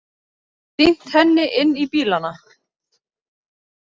Sýnt henni inn í bílana.